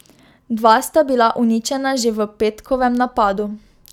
Dva sta bila uničena že v petkovem napadu.